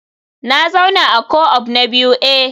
Na zauna a co-op na biyu eh